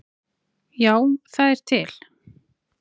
Já, það er til.